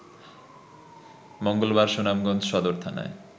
মঙ্গলবার সুনামগঞ্জ সদর থানায়